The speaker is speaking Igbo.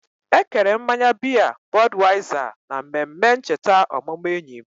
Ekere mmanya biya Budweiser na mmemme ncheta ọmụmụ enyi m.